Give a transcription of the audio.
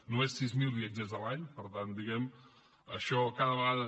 només sis mil viatgers l’any per tant diguem ne això cada vegada